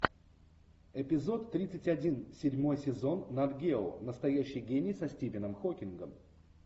эпизод тридцать один седьмой сезон нат гео настоящий гений со стивеном хокингом